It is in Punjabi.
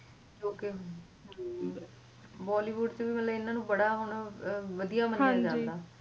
bollywood ਚ ਵੀ ਇਨ੍ਹਾਂ ਨੂੰ ਮਤਲਬ ਬੜਾ ਹੁਣ ਵਧੀਆ ਮੰਨਿਆ ਜਾਂਦਾ